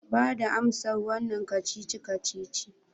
Bada amsar wannan kacici-kacici